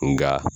Nka